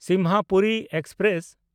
Simhapuri express